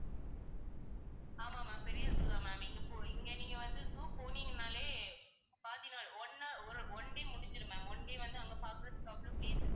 ஆமா ma'am பெரிய zoo தான் ma'am. இங்க போ~ இங்க நீங்க வந்து zoo போனீங்கன்னாலே பாதி நாள் ஒண்ணா ஒரு one day முடிஞ்சிரும் ma'am one day வந்து அங்க பார்க்கிறதுக்கு அவ்ளோ place இருக்கும்